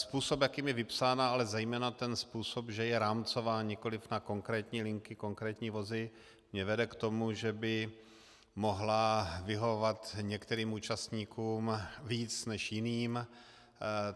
Způsob, jakým je vypsána, ale zejména ten způsob, že je rámcová, nikoli na konkrétní linky, konkrétní vozy, mě vede k tomu, že by mohla vyhovovat některým účastníkům víc než jiným.